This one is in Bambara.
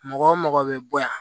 Mɔgɔ mɔgɔ bɛ bɔ yan